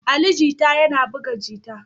Ali Jita yana buga jita